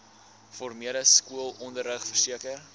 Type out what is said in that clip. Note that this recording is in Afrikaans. formele skoolonderrig verseker